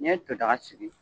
N' i ye to daga sigi.